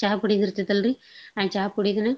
ಚಹ ಪುಡಿಯೋದಿರ್ತಾತಲ್ರಿ ಆ ಚಾ ಪುಡೀದ್ರಿ